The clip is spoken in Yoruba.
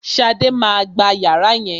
Bíọ́là má a gba yàrá yẹn